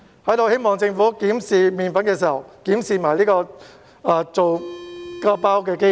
在此希望政府檢視"麵粉"的時候，也一併檢視製造"麵包"的機器。